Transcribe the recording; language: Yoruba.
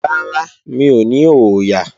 Rárá, mi ò ní ọ̀ọ̀yà